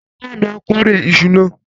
Bàbá mi á kórè iṣu náà.